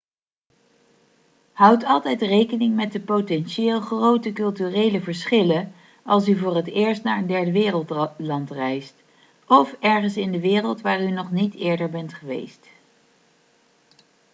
houd altijd rekening met de potentieel grote culturele verschillen als u voor het eerst naar een derdewereldland reist of ergens in de wereld waar u nog niet eerder bent geweest